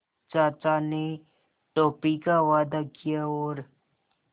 चाचा ने टॉफ़ी का वादा किया और